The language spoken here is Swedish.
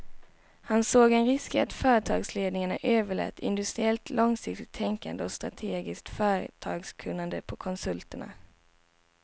Han såg en risk i att företagsledningarna överlät industriellt långsiktigt tänkande och strategiskt företagskunnande på konsulterna.